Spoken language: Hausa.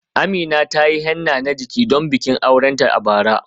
Amina ta yi henna na jiki don bikin aurenta a bara.